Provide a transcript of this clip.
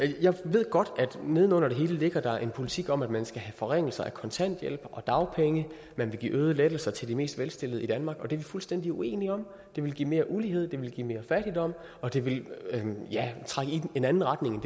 jeg ved godt at der neden under det hele ligger en politik om at man skal have forringelser af kontanthjælp og dagpenge at man vil give øgede lettelser til de mest velstillede i danmark og det er vi fuldstændig uenige om det ville give mere ulighed det ville give mere fattigdom og det ville trække i en anden retning end